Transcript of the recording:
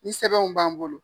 Ni sɛbɛnw b'an bolo.